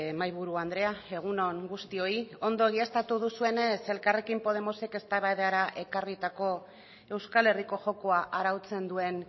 mahaiburu andrea egun on guztioi ondo egiaztatu duzuenez elkarrekin podemosek eztabaidara ekarritako euskal herriko jokoa arautzen duen